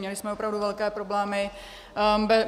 Měli jsme opravdu velké problémy.